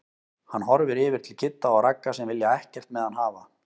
Hann horfir yfir til Kidda og Ragga sem vilja ekkert með hann hafa.